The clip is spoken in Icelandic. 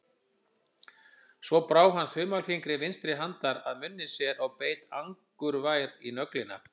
Svo brá hann þumalfingri vinstri handar að munni sér og beit angurvær í nöglina.